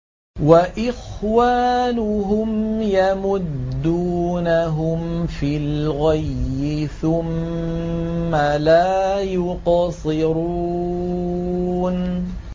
وَإِخْوَانُهُمْ يَمُدُّونَهُمْ فِي الْغَيِّ ثُمَّ لَا يُقْصِرُونَ